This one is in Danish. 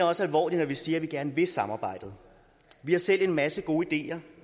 også alvorligt når vi siger at vi gerne vil samarbejdet vi har selv en masse gode ideer